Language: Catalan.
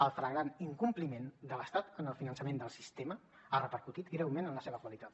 el flagrant incompliment de l’estat en el finançament del sistema ha repercutit greument en la seva qualitat